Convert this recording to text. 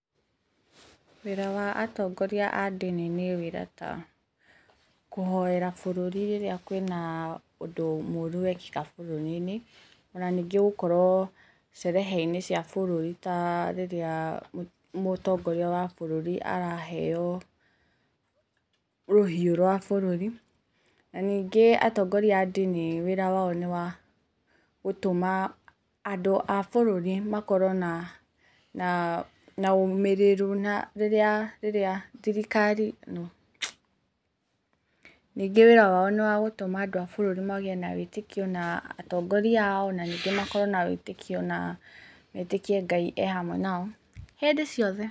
Wĩra wa atongoria a ndini nĩ wĩra ta kũhoera bũrũri rĩrĩa kwĩna ũndũ mũũru wekĩka bũrũri-inĩ na ningĩ gũkorwo sherehe inĩ cia bũrũri ta rĩrĩa Mũtongoria wa bũrũri araheo rũhiũ rwa bũrũri. Na ningĩ atongoria a ndini wĩra wao nĩ wa gũtũma andũ a bũrũri makorwo na ũũmĩrĩru na rĩrĩa thirikari... [no] Ningĩ wĩra wao nĩ wa gũtũma andũ a bũrũri magĩe na wĩtĩkio na atongoria ao na ningĩ makorwo na wĩtĩkio na metĩkie Ngai e hamwe nao hĩndĩ ciothe.